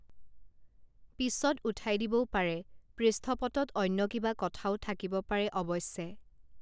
পিছত উঠাই দিবও পাৰে পৃষ্ঠপটত অন্য কিবা কথাও থাকিব পাৰে অৱশ্যে